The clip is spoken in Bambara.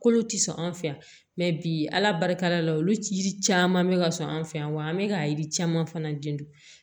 Kolo tɛ sɔn an fɛ yan mɛ bi ala barika la olu ji caman bɛ ka sɔn an fɛ yan wa an bɛ ka yiri caman fana den dun